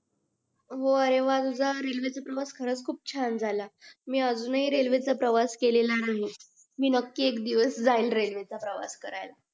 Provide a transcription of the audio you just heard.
वाह रे व्हा तुझा रेल्वे चा प्रवास खरंच खूप छान झाला मी अजून हि रेल्वे चा प्रवास केलेला नाही मी नकी एक दिवस जाईन रेल्वे चा प्रवास करायला